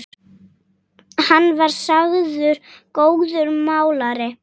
Hann var sagður góður málari.